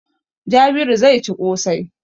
Jabiru zai ci ƙosai.